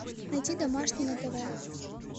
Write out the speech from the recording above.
найти домашний на тв